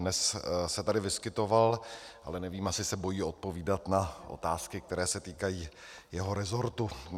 Dnes se tady vyskytoval, ale nevím, asi se bojí odpovídat na otázky, které se týkají jeho resortu.